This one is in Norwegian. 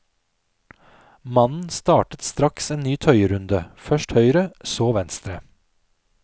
Mannen startet straks en ny tøyerunde, først høyre, så venstre.